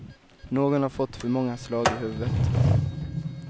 Någon har fått för många slag i huvudet.